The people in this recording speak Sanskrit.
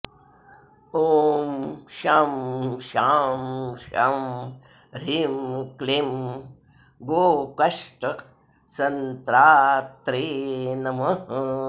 ॐ शं शां षं ह्रीं क्लीं गोकष्टसन्त्रात्रे नमः